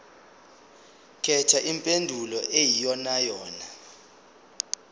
khetha impendulo eyiyonayona